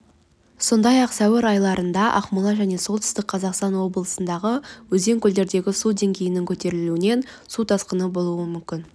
сондай-ақ сәуір аралығында ақмола және солтүстік қазақстан облыстарында өзен-көлдердегі су деңгейінің көтерілуінен су тасқыны болуы мүмкін